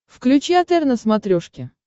включи отр на смотрешке